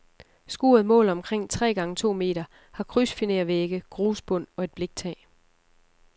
Skuret måler omkring tre gange to meter, har krydsfinervægge, grusbund og et bliktag.